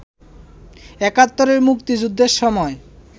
একাত্তরে মুক্তিযুদ্ধের সময়